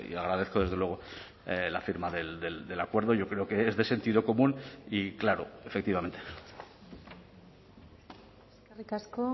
agradezco desde luego la firma del acuerdo yo creo que es de sentido común y claro efectivamente eskerrik asko